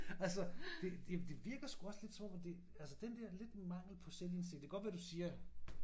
Altså det det det virker sgu også lidt som om at det altså den der lidt mangel på selvindsigt det kan godt være du siger